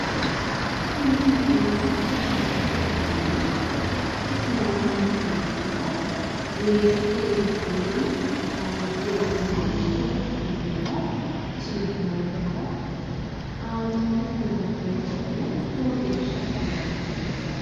Kuni la'neemmohu sagalete ayinati isino maati yinummoro weesete giddonni honge iillinshe afi'neemmobo isino omolchoho. Xaanxenna worroonni gari lowo geeshsha dibiifanno.